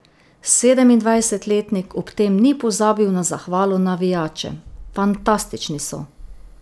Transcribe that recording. Sedemindvajsetletnik ob tem ni pozabil na zahvalo navijačem: 'Fantastični so.